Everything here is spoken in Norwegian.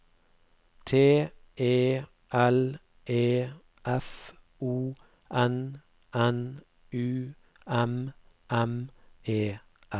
T E L E F O N N U M M E R